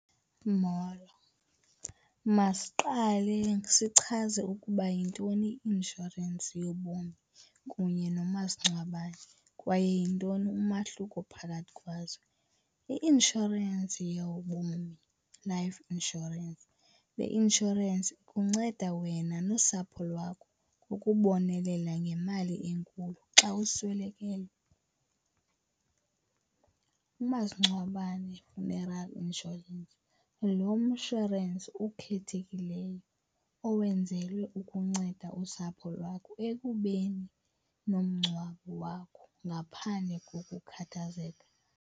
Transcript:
Molo, masiqale sichaze ukuba yintoni i-inshorensi yobomi kunye nomasingcwabane kwaye yintoni umahluko phakathi kwazo. I-inshorensi yobomi, life insurance, le inshorensi ikunceda wena nosapho lwakho ukubonelela ngemali enkulu xa uswelekelwe. Umasingcwabane funeral insurance, lo mshwarensi ukhethekileyo owenzelwe ukunceda usapho lwakho ekubeni nomngcwabo wakho ngaphandle kokukhathazeka.